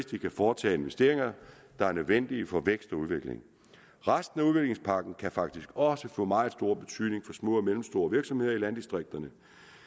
de kan foretage investeringer der er nødvendige for vækst og udvikling resten af udviklingspakken kan faktisk også få meget stor betydning for små og mellemstore virksomheder i landdistrikterne